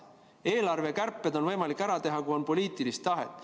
Eelarvekärped on võimalik ära teha, kui on poliitilist tahet.